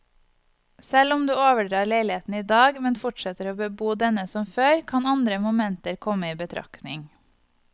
Selv om du overdrar leiligheten i dag, men fortsetter å bebo denne som før, kan andre momenter komme i betraktning.